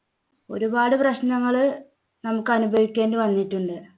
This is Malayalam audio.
ഒരുപാട് പ്രശ്നങ്ങള് നമുക്ക് അനുഭവിക്കേണ്ടി വന്നിട്ടുണ്ട്